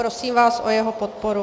Prosím vás o jeho podporu.